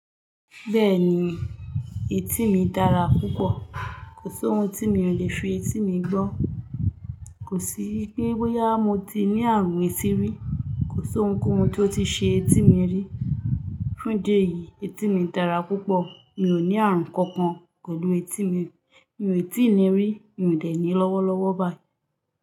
Bẹ́ẹ̀ni, etí mi dára púpọ̀. Kò sí ohun tí mi ò le fi etí mi gbọ́. Kò sí pé bóyá mo ti ní àrùn etí rí. Kò sí ohunkóhun tó ti ṣe etí mi rí. Fún idi eyì etí mi dára púpọ̀. Mi ò ní àrùn kankan pẹ̀lú etí mi. Mi ò tí ì ní rí, mi ò dẹ̀ ní lọ́wọ́lọ́wọ́ báyìí.